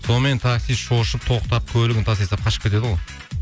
сонымен таксист шошып тоқтап көлігін тастай салып қашып кетеді ғой